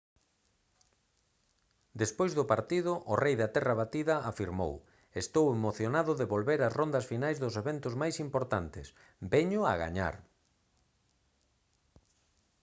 despois do partido o rei da terra batida afirmou: «estou emocionado de volver ás rondas finais dos eventos máis importantes. veño a gañar»